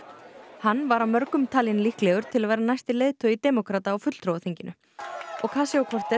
hann var af mörgum talinn líklegur til að verða næsti leiðtogi demókrata á fulltrúaþinginu ocasio